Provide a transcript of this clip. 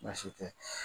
Baasi tɛ